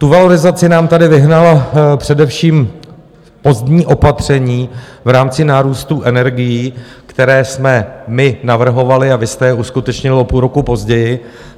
Tu valorizaci nám tady vyhnala především pozdní opatření v rámci nárůstu energií, která jsme my navrhovali, a vy jste je uskutečnili o půl roku později.